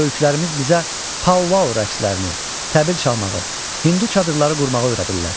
Böyüklərimiz bizə Pauvaou rəqslərini, təbil çalmağı, hindu çadırları qurmağı öyrədirlər.